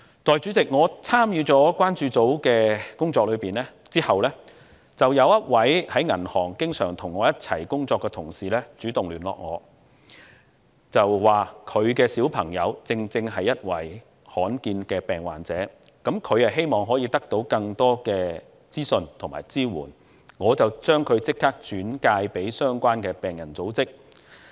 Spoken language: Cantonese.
代理主席，我參與了關注組的工作後，當中有一位於銀行界經常與我一起工作的同事主動與我聯絡，他的小孩正是罕見疾病患者，他希望得到更多資訊及支援，我便立即將他的小孩轉介至相關的病人組織。